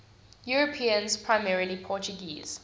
europeans primarily portuguese